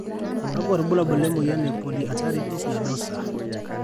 kakwa irbulabol le polyarteritis nadosa?